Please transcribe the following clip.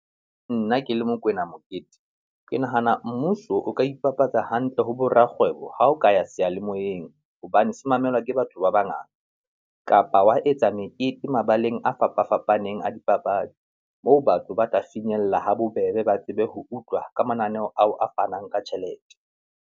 Nna ke le Mokoena Mokete, ke nahana mmuso o ka ipapatsa hantle ho bo rakgwebo ha o ka ya seyalemoyeng hobane se mamelwa ke batho ba bangata, kapa wa etsa mekete mabaleng a fapafapaneng a dipapadi moo batho ba tla finyella ha bobebe ba tsebe ho utlwa ka mananeo ao a fanang ka tjhelete.